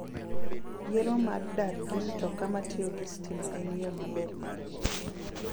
Yiero mar dar gi mtoka matiyo gi stima en yo maber mar wuoth.